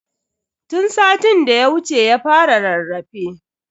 Tun satin da ya wuce ya fara rarrafe.